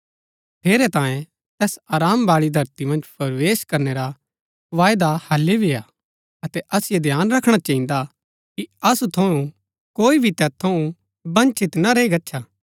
ठेरैतांये तैस आराम बाळी धरती मन्ज प्रवेश करनै रा वायदा हालि भी हा अतै असिओ ध्यान रखणा चहिन्दा कि असु थऊँ कोई भी तैत थऊँ वंचित ना रैई गच्छा